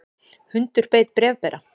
Hundur beit bréfbera